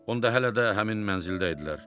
Onda hələ də həmin mənzildə idilər.